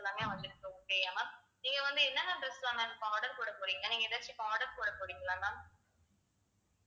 எல்லாமே வந்திருக்கு okay யா ma'am நீங்க வந்து என்னென்ன dress லாம் ma'am இப்ப order போடப் போறீங்க நீங்க ஏதாச்சும் இப்ப order போடப் போறீங்களா ma'am